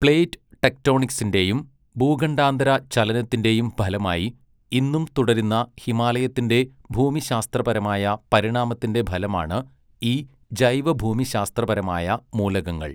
Plate ടെക്റ്റോണിക്സിൻ്റെയും ഭൂഖണ്ഡാന്തര ചലനത്തിൻ്റെയും ഫലമായി, ഇന്നും തുടരുന്ന ഹിമാലയത്തിൻ്റെ ഭൂമിശാസ്ത്രപരമായ പരിണാമത്തിൻ്റെ ഫലമാണ്, ഈ ജൈവഭൂമിശാസ്ത്രപരമായ മൂലകങ്ങൾ.